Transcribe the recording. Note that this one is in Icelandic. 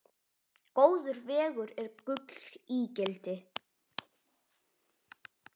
Góður vegur er gulls ígildi.